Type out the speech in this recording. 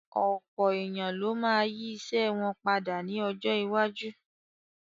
Ọ̀pọ̀ èèyàn ló ma yí ìṣe wọn padà ní ọjọ́ iwájú